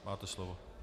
Máte slovo.